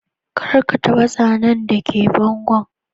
Kar ka taba zanan da ke bangon.